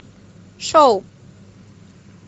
шоу